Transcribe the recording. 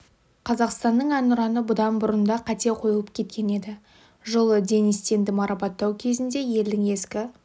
қазақстанның әнұраны бұдан бұрын да қате қойылып кеткен еді жылы денис тенді марапаттау кезінде елдің ескі